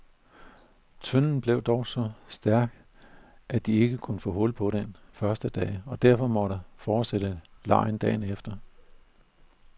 Tønden blev dog så stærk, at de ikke kunne få hul på den den første dag, og derfor måtte fortsætte legen dagen efter.